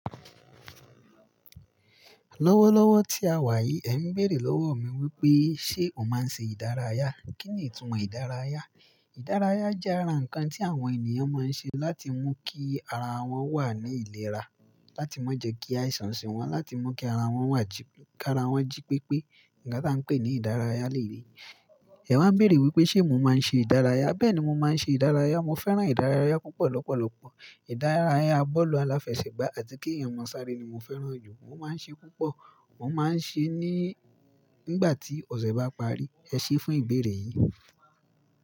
Lọ́wọ́lọ́wọ́ tí a wà yìí, ẹ̀ ń bèèrè lọ́wọ mi wípé ṣé mò máa ń ṣe ìdárayá? Kí ni ìtumọ̀ ìdárayá? Ìdárayá jẹ́ ara ǹkan tí àwọn ènìyàn máa ń ṣe láti mú kí ara wọ́n wà ní ìlera, láti má jẹ́ kí àìsàn ṣe wọ́n, láti mú kí ara wọ́n wà jí—k’ára wọ́n jí pépé. Ǹkan t’á ń pè ní ìdárayá lèyí. Ẹ wá ń béèrè wípé ṣé mò máa ń ṣe ìdárayá? Bẹ́ẹ̀ ni mo máa ń ṣe ìdárayá. Mo fẹ́ràn ìdárayá púpọ̀ lọ́pọ̀lọpọ̀. Ìdárárayá bọ́ọ̀lù aláfẹsẹ̀gbá àti kí èyàn máa sáré ni mo fẹ́ràn jù. Mo máa ń ṣe púpọ̀. Mo máa ń ṣe é ní, nígbà tí ọ̀sẹ̀ bá parí. Ẹ ṣé fún ìbéèrè yìí.